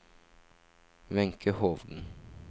Wenche Hovden